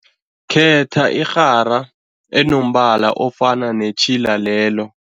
Khetha irhara enombala ofana netjhila lelo.